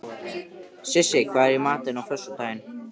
Sissa, hvað er í matinn á föstudaginn?